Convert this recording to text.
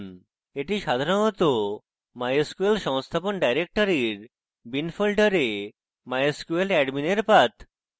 এটি সাধারণত mysql সংস্থাপন ডাইরেক্টরির bin folder mysqladmin এর path